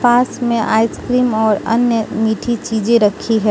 पास में आइसक्रीम और अन्य मीठी चीजे रखी हैं।